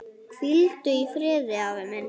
Hvíldu í friði, afi minn.